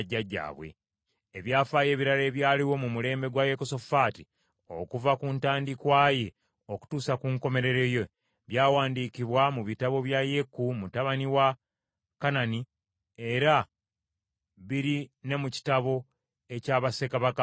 Ebyafaayo ebirala ebyaliwo mu mulembe gwa Yekosafaati, okuva ku ntandikwa ye okutuusa ku nkomerero ye, byawandiikibwa mu bitabo bya Yeeku mutabani wa Kanani, era biri ne mu kitabo ekya bassekabaka ba Isirayiri.